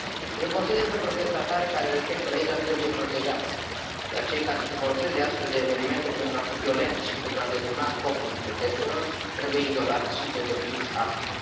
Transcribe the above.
Eu consider că protestatarii care respectă legea trebuie protejați, iar cei care se folosesc de astfel de evenimente pentru a fi violenți și pentru a deturna scopul protestelor trebuie izolați și pedepsiți aspru.